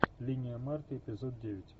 линия марты эпизод девять